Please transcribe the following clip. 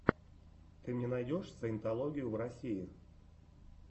ты мне найдешь саентологию в россии